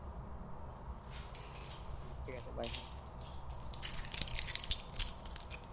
ঠিক আছে bye হ্যাঁ